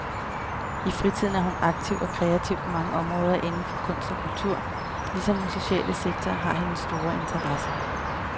I fritiden er hun aktiv og kreativ på mange områder inden for kunst og kultur, ligesom den sociale sektor har hendes store interesse.